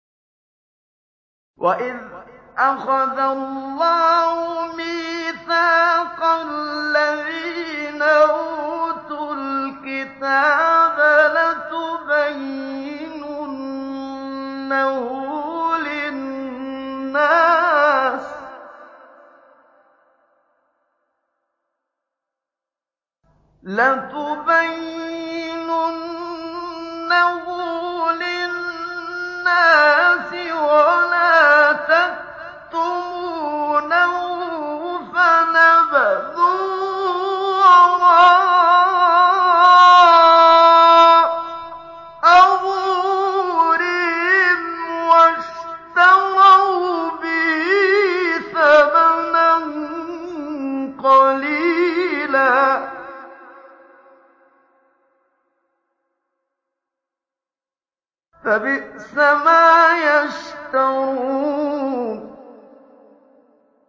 وَإِذْ أَخَذَ اللَّهُ مِيثَاقَ الَّذِينَ أُوتُوا الْكِتَابَ لَتُبَيِّنُنَّهُ لِلنَّاسِ وَلَا تَكْتُمُونَهُ فَنَبَذُوهُ وَرَاءَ ظُهُورِهِمْ وَاشْتَرَوْا بِهِ ثَمَنًا قَلِيلًا ۖ فَبِئْسَ مَا يَشْتَرُونَ